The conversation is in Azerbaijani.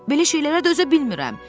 Belə şeylərə dözə bilmirəm.